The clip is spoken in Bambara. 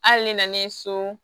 Hali ne nanen so